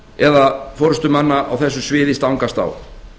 eða forustumanna á þessu sviði stangast á